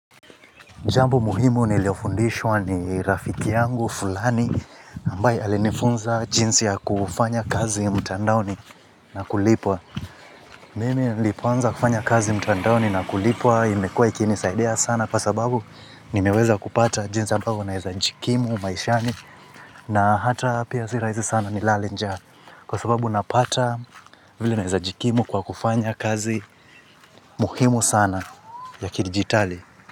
Jambo muhimu niliofundishwa ni rafiki yangu, fulani, ambaye alifunza jinsi ya kufanya kazi mtandaoni na kulipwa. Mimi nlipoanza kufanya kazi mtandaoni na kulipwa, imekuwa ikini saidia sana kwa sababu nimeweza kupata jinsi ambayo naeza jikimu maishani na hata pia si raisi sana nilale njaa. Kwa sababu napata vile naeza jikimu kwa kufanya kazi muhimu sana ya kidigitali.